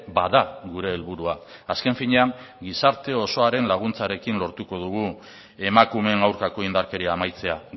bada gure helburua azken finean gizarte osoaren laguntzarekin lortuko dugu emakumeen aurkako indarkeria amaitzea